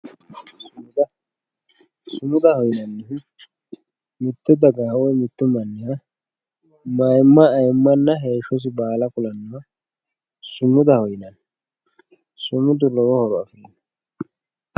sumuda. sumudaho yinannihu mitte dagaha woy mittu manniha mayiimma ayiimmanna heeshshosi baala kulannoha sumudaho yinayii sumudu lowo horo afirino.